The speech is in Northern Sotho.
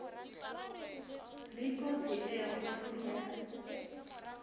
le kotsi e kgolo ya